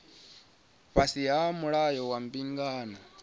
fhasi ha mulayo wa mbingano